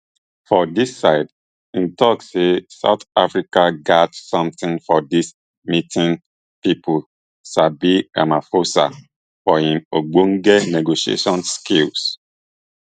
for dis side im tok say south africa gatz sometin for dis meeting pipo sabi ramaphosa for im ogbonge negotiation skills